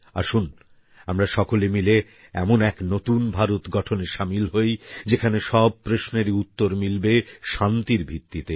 আসুন আমরা সকলে মিলে এমন এক নতুন ভারত গঠনে সামিল হই যেখানে সব প্রশ্নেরই উত্তর মিলবে শান্তির ভিত্তিতে